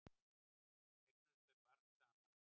Eignuðust þau barn saman?